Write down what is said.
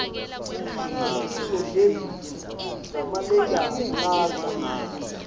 imisho lembici nalemagalagala